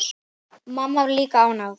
Mamma var líka ánægð.